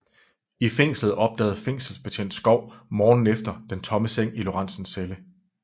I fængslet opdagede fængselsbetjent Skov morgenen efter den tomme seng i Lorentzens celle